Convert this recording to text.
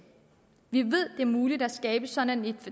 vi ved at det er muligt at skabe sådan et